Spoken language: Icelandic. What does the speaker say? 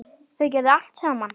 Þau gerðu allt saman.